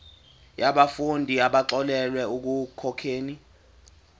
yabafundi abaxolelwa ekukhokheni